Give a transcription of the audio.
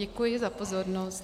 Děkuji za pozornost.